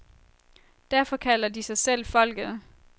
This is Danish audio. Derfor kalder de sig selv folket.